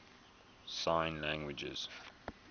sign languages